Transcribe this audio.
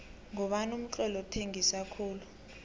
ngubani umtloli othengisa khulu